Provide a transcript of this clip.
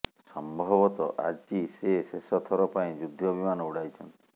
ସମ୍ଭବତଃ ଆଜି ସେ ଶେଷଥର ପାଇଁ ଯୁଦ୍ଧ ବିମାନ ଉଡ଼ାଇଛନ୍ତି